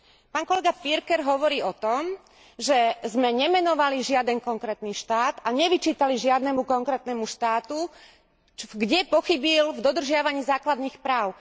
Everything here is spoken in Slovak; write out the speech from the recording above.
Pán kolega Pirker hovorí o tom, že sme nemenovali žiaden konkrétny štát a nevyčítali žiadnemu konkrétnemu štátu, kde pochybil v dodržiavaní základných práv.